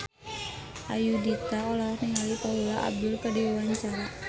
Ayudhita olohok ningali Paula Abdul keur diwawancara